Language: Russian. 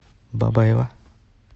бабаево